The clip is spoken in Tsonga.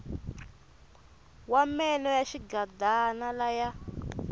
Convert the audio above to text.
wa meno ya xigidana laya